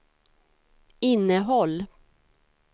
innehåll